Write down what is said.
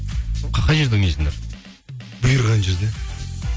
қай жерде ойнайсыңдар бұйырған жерде